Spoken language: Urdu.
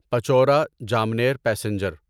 پچورا جامنیر پیسنجر